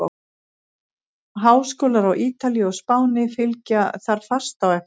Háskólar á Ítalíu og Spáni fylgja þar fast á eftir.